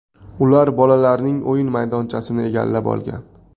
Ular bolalarning o‘yin maydonchasini egallab olgan.